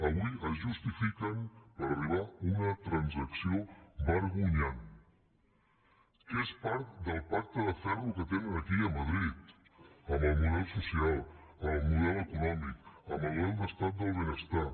avui es justifiquen per arribar a una transacció vergonyant que és part del pacte de ferro que tenen aquí i a madrid amb el model social amb el model econòmic amb el model d’estat del benestar